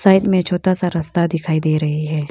में छोटा सा रस्ता दिखाई दे रही है।